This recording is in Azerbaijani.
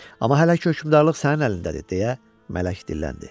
Amma hələ ki hökmdarlıq sənin əlindədir, deyə mələk dilləndi.